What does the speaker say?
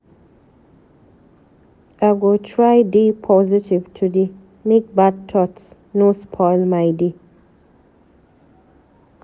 I go try dey positive today, make bad thoghts no spoil my day.